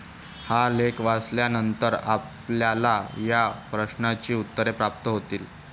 हा लेख वाचल्यानंतर आपल्याला या प्रश्नांची उत्तरे प्राप्त होतील.